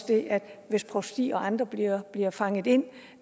det at hvis provstier og andre bliver bliver fanget ind